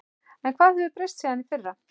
En hvað hefur breyst síðan í fyrra?